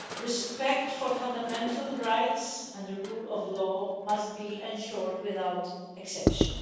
Respect for fundamental rights and the rule of law must be ensured without exception.